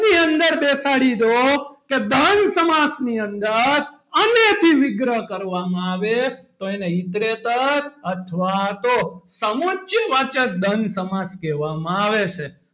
ની અંદર બેસાડી દો કે દ્વંદ સમાસ ની અંદર અને થી વિગ્રહ કરવામાં આવે તો એને ઈતરેતર અથવા તો સમુચ્ય વાચક દ્વંદ સમાસ કહેવામાં આવે છે.